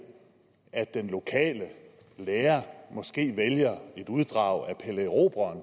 at den lokale lærer måske vælger et uddrag af pelle erobreren